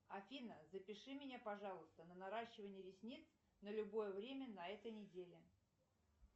афина запиши меня пожалуйста на наращивание ресниц на любое время на этой неделе